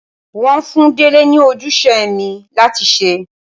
Wọ́n fún Dele ní ojúṣe ẹ̀mí láti ṣe.